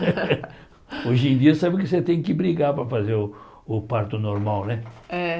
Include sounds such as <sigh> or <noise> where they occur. <laughs> Hoje em dia sabe que você tem que brigar para fazer o o parto normal, né? É